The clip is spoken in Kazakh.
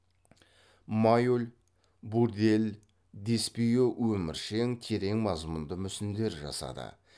майоль бурдель деспио өміршең терең мазмұнды мүсіндер жасады